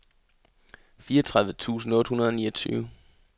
fireogtredive tusind otte hundrede og niogtyve